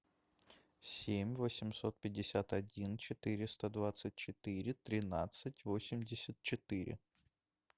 семь восемьсот пятьдесят один четыреста двадцать четыре тринадцать восемьдесят четыре